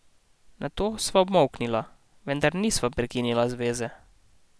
Nato sva obmolknila, vendar nisva prekinila zveze.